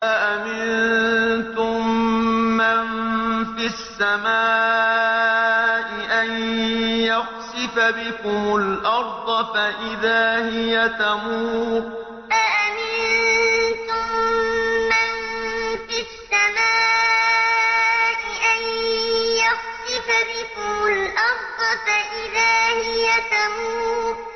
أَأَمِنتُم مَّن فِي السَّمَاءِ أَن يَخْسِفَ بِكُمُ الْأَرْضَ فَإِذَا هِيَ تَمُورُ أَأَمِنتُم مَّن فِي السَّمَاءِ أَن يَخْسِفَ بِكُمُ الْأَرْضَ فَإِذَا هِيَ تَمُورُ